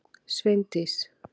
Sveindís